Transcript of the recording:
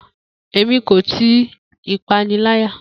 Emi ko ti ipanilaya.